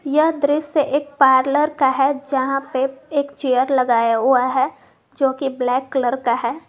यह दृश्य एक पार्लर का है जहां पर एक चेयर लगाया हुआ है जो की ब्लैक कलर का है।